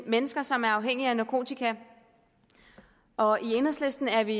mennesker som er afhængige af narkotika og i enhedslisten er vi